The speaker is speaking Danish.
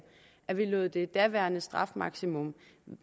at vi lod det daværende strafmaksimum